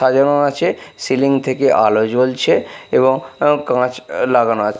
সাজানো আছে সিলিং থেকে আলো জ্বলছে এবং আ কাচ লাগানো আছে।